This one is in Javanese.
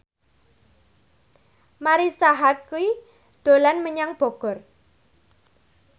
Marisa Haque dolan menyang Bogor